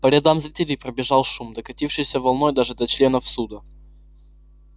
по рядам зрителей пробежал шум докатившийся волной даже до членов суда